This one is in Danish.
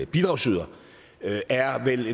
bidragsyder der er vel